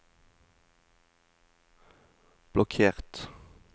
blokkert